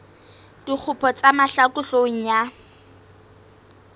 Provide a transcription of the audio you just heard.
dikgopo tsa mahlaku hloohong ya